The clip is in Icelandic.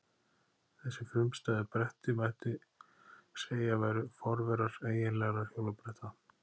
Þessi frumstæðu bretti mætti segja að væru forverar eiginlegra hjólabretta.